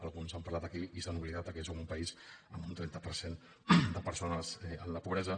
alguns han parlat aquí i s’han oblidat que som un país amb un trenta per cent de persones en la pobresa